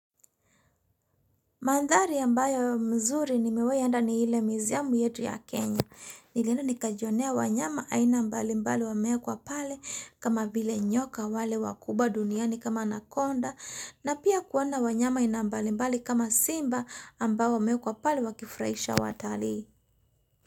Mandhari ambayo mzuri nimewai enda ni ile miziamu yetu ya Kenya. Nilienda nikajionea wanyama aina mbali mbali wamewekwa pale kama vile nyoka wale wakubwa duniani kama anakonda na pia kuona wanyama aina mbali mbali kama simba ambao wamewekwa pale wakifuraisha watalii.